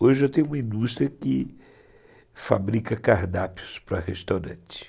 Hoje eu tenho uma indústria que fabrica cardápios para restaurante.